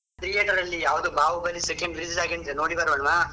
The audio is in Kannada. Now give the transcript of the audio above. Theater ಅಲ್ಲಿ ಯಾವ್ದೋ ಬಾಹುಬಲಿ second release ಆಗಿದೆಯಂತೆ ನೋಡಿ ಬರೋಣ್ವಾ?